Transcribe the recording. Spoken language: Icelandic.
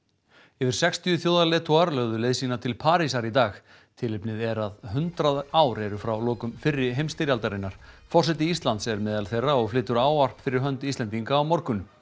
yfir sextíu þjóðarleiðtogar lögðu leið sína til Parísar í dag tilefnið er að hundrað ár eru frá lokum fyrri heimsstyrjaldarinnar forseti Íslands er meðal þeirra og flytur ávarp fyrir hönd Íslendinga á morgun